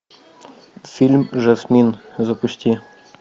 фильм жасмин запусти